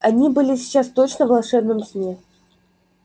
они были сейчас точно в волшебном сне